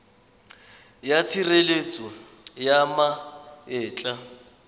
ya tshireletso ya ma etla